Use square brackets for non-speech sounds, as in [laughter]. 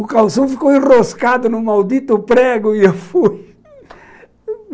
O calção ficou enroscado no maldito [laughs] prego e eu fui.